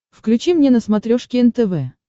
включи мне на смотрешке нтв